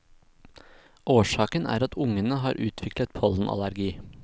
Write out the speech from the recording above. Årsaken er at ungene har utviklet pollenallergi.